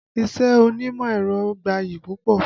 Iṣẹ́ onímọ̀ ẹ̀rọ gbayì púpọ̀